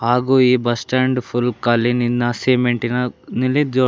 ಹಾಗು ಈ bus stand full ಕಾಲಿನಿನ ಸಿಮೆಂಟಿನ ನಲ್ಲಿ ಜೋ--